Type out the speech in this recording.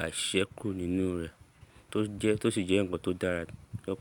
àìṣise kúrò nínú rẹ̀, tó jẹ́, tó sì jẹ́ nǹkan tó dára lọ.